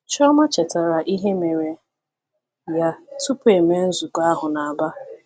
Chioma chetaara ihe mere ya tupu e mee nzukọ ahụ na Aba.